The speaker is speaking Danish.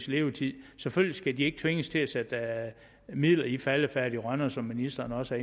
levetid selvfølgelig skal de ikke tvinges til at sætte midler i faldefærdige rønner som ministeren også